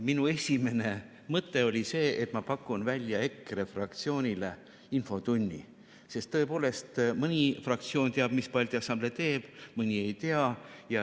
Minu esimene mõte oli see, et ma pakun välja EKRE fraktsioonile infotunni, sest tõepoolest, mõni fraktsioon teab, mis Balti Assamblee teeb, mõni ei tea.